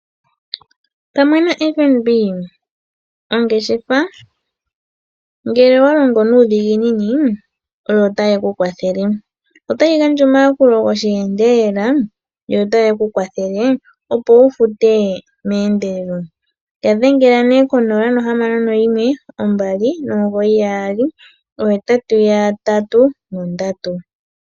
Pamwe naFNB ongeshefa ngele owalongo nuudhiginini otayeku kwathele. Otayi gandja oyakulo gosheendelela, yo otayi kukwathele opo wufute meendelelo yadhengela kongodhi yo 061 2998883.